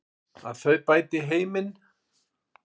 Að þau bæti heiminn.